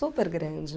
Super grande.